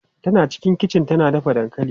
Tana cikin kichi tana dafa dankali.